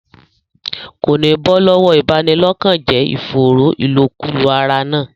Kò ní bọ́ lọ́wọ́ ìbanilọ́kànjẹ́ ìfòòró ìlòkulò ara náà.